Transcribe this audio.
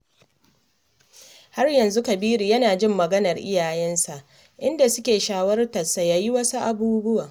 Har yanzu Kabiru yana jin maganar iyayensa, inda suke shawartar sa ya yi wasu abubuwa